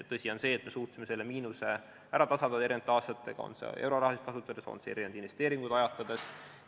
Tõsi on see, et me suutsime selle miinuse eri aastatega ära tasandada, kas siis euroraha kasutades või investeeringuid ajatades.